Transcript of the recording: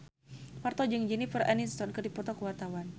Parto jeung Jennifer Aniston keur dipoto ku wartawan